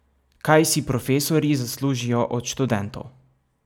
Kaj si profesorji zaslužijo od študentov?